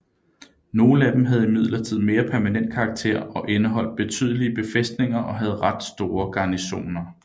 Nogle af dem havde imidlertid mere permanent karakter og indeholdt betydelige befæstninger og havde ret store garnisoner